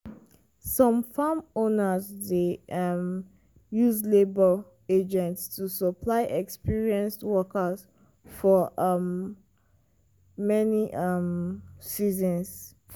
some farm owners dey um use labour agents to supply experienced workers for um many um seasons.